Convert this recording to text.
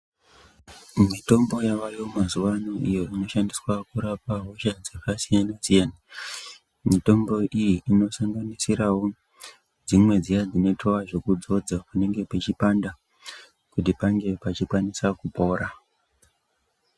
Mitombo yawayo mazuwaano iyo inoshandiswa kurapa hosha dzakasiyana siyana. Mitombo iyi inosanganisirawo dzimwe dziya dzinoitwa zvekudzodza panenge pechipanda kuti pakasike kupona.